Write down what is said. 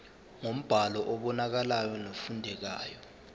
ngombhalo obonakalayo nofundekayo